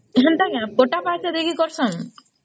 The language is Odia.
ହେନ୍ତା କି ପଟା ପାଉତି ଦେଇକି କରସନ ?